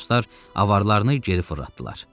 Matroslar avararını geri fırlatdılar.